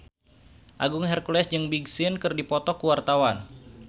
Agung Hercules jeung Big Sean keur dipoto ku wartawan